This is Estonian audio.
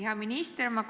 Hea minister!